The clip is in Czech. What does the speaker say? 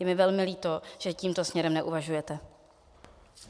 Je mi velmi líto, že tímto směrem neuvažujete.